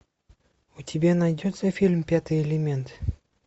у тебя найдется фильм пятый элемент